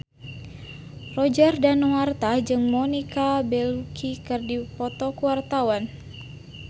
Roger Danuarta jeung Monica Belluci keur dipoto ku wartawan